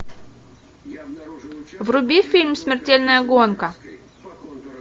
вруби фильм смертельная гонка